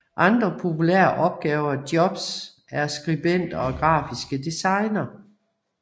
Andre populærer opgaver jobs er skribenter og grafiske designere